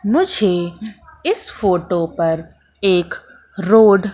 मुझे इस फोटो पर एक रोड --